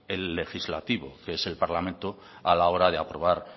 el legislativo que es el parlamento a la hora de aprobar